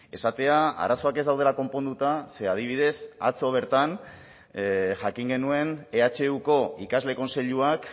esatea arazoak ez daudela konponduta ze adibidez atzo bertan jakin genuen ehuko ikasle kontseiluak